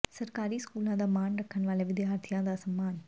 ਸਰਕਾਰੀ ਸਕੂਲਾਂ ਦਾ ਮਾਣ ਰੱਖਣ ਵਾਲੇ ਵਿਦਿਆਰਥੀਆਂ ਦਾ ਸਨਮਾਨ